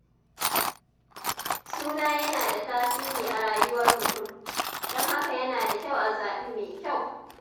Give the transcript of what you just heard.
Suna yana da tasiri a rayuwar mutum, don haka yana da kyau a zaɓi mai kyau.